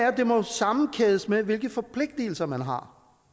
at det må sammenkædes med hvilke forpligtelser man har